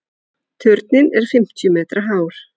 Turninn er fimmtíu metra hár.